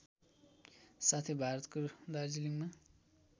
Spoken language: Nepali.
साथै भारतको दार्जिलिङमा